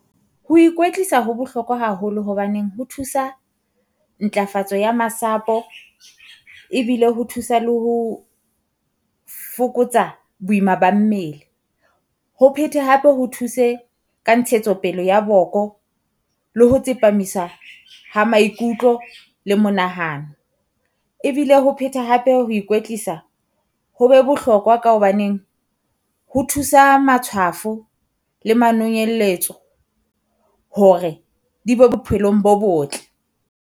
Ho ikwetsisa ho bohlokwa haholo hobaneng, ho thusa ntlafatso ya masapo ebile ho thusa le ho fokotsa boima ba mmele. Ho phete hape ho thuse ka ntshetsopele ya boko, le ho tsepamisa ha maikutlo le monahano. Ebile ho phethe hape ho ikoetlisa ho be bohlokwa ka hobaneng ho thusa matshwafo le manonyelletso hore di be bophelong bo botle.